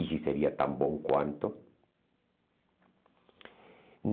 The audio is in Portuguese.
E se seria tão bom quanto.